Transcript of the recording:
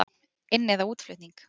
Inn- eða útflutning?